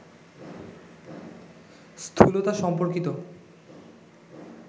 স্থূলতা সম্পর্কিত